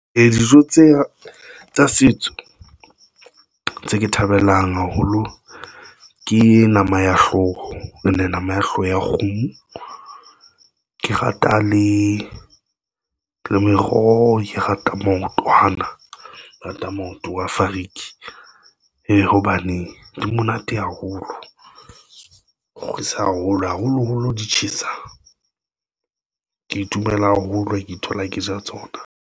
Dijo tse tsa setso tse ke thabelang haholo ke nama ya hlooho, and nama ya hlooho ya kgomo. Ke rata le meroho, ke rata maoto, hana rata maoto wa Fariki hee hobane di monate haholo, kgurisa haholo haholoholo di tjhesa. Ke itumela haholo, ke ithola, ke ja tsona.